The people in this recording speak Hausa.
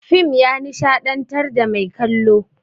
Fim ya nishaɗantar da mai kallo.